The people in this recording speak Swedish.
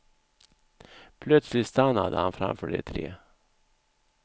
Plötsligt stannade han framför de tre.